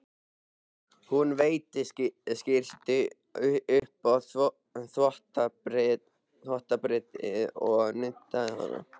Hún veiddi skyrtu upp á þvottabrettið og nuddaði hana.